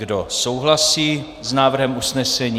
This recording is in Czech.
Kdo souhlasí s návrhem usnesení?